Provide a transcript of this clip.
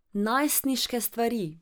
Najstniške stvari.